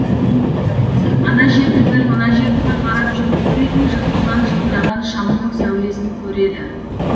ана жерді бір мына жерді бір қарап жүріп бір үйдің жыртығынан жылтыраған шамнын сәулесін көреді